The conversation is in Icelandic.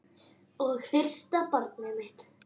Og fyrsta barnið mitt.